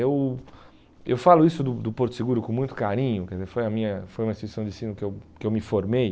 Eu eu falo isso do do Porto Seguro com muito carinho, quer dizer, foi a minha foi uma instituição de ensino que eu que eu me formei.